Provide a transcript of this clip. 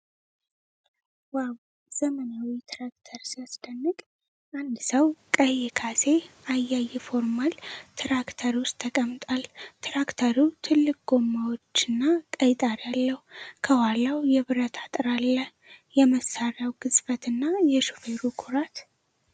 ዋው! ዘመናዊው ትራክተር ሲያስደንቅ! አንድ ሰው ቀይ ካሴ አይአይ ፋርማል ትራክተር ውስጥ ተቀምጧል። ትራክተሩ ትልቅ ጎማዎችና ቀይ ጣሪያ አለው። ከኋላው የብረት አጥር አለ። የመሣሪያው ግዝፈትና የሹፌሩ ኩራት !!።